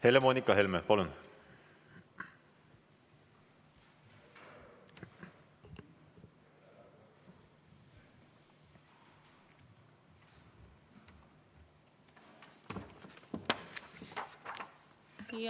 Helle-Moonika Helme, palun!